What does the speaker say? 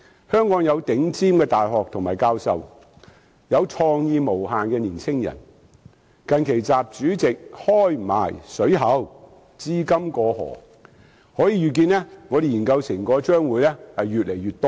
香港有頂尖的大學和教授，有創意無限的年青人，最近習主席更放寬讓資金"過河"，可以預見我們的研究成果將會越來越多。